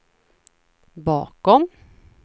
bakom